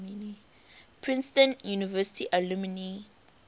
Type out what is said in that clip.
princeton university alumni